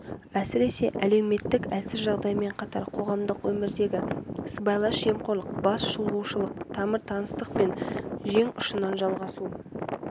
әсіресе әлеуметтік әлсіз жағдаймен қатар қоғамдық өмірдегі сыбайлас жемқорлық бас шұлғушылық тамыр-таныстық пен жең ұшынан жалғасу